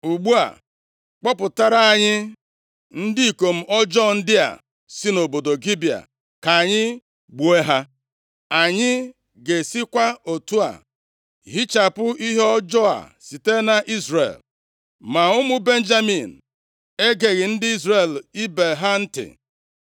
Ugbu a, kpọpụtara anyị ndị ikom ọjọọ dị a si nʼobodo Gibea ka anyị gbuo ha. Anyị ga-esikwa otu a hichapụ ihe ọjọọ a site nʼIzrel.” Ma ụmụ Benjamin egeghị ndị Izrel ibe ha ntị.